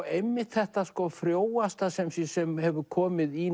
einmitt þetta frjóasta sem hefur komið í